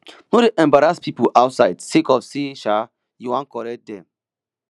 no dey embarrass pipo outside sake of sey um you wan correct dem